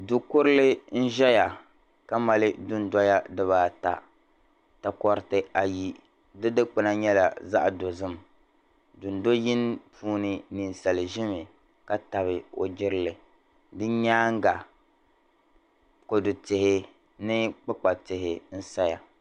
Du'kurili n zaya ka mali du'noya diba ata takoriti ayi di dikpina nyɛla zaɣ'dozim dundo'yini puuni ninsali zemi ka tabi o jirili di nyaaŋa kodu tihi ni kpikpa tihi n saya